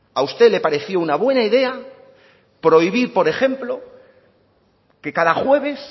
a usted le pareció una buena idea prohibir por ejemplo que cada jueves